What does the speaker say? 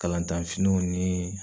Kalantanfiniw ni